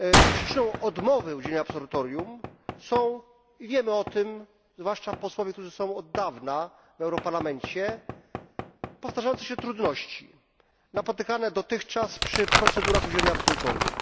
Przyczyną odmowy udzielenia absolutorium są i wiemy o tym, zwłaszcza posłowie, którzy są od dawna w Parlamencie Europejskim powtarzające się trudności napotykane dotychczas przy procedurach udzielenia absolutorium.